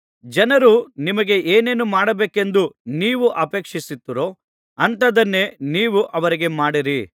ಜನರು ನಿಮಗೆ ಏನೇನು ಮಾಡಬೇಕೆಂದು ನೀವು ಅಪೇಕ್ಷಿಸುತ್ತೀರೋ ಅಂಥದನ್ನೇ ನೀವು ಅವರಿಗೆ ಮಾಡಿರಿ